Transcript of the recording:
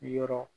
Yɔrɔ